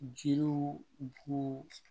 Jiriw bo